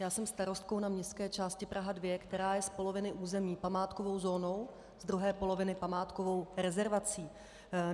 Já jsem starostkou na městské části Praha 2, která je z poloviny území památkovou zónou, z druhé poloviny památkovou rezervací.